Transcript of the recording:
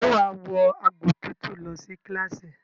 Ṣe wàá wọ agbòtútù lọ sí kíláàsì?